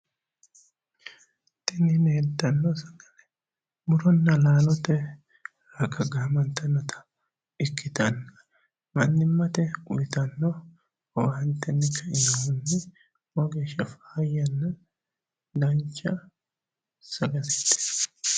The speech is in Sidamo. Tini leeltanno sagale muronna laalote raga gaamantannota ikkitanna mannimmate uyitanno owaantenni kainohunni lowo geeshsha faayyanna dancha sagaleeti.